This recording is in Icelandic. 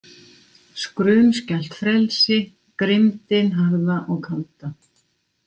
Skrumskælt frelsi, grimmdin harða og kalda.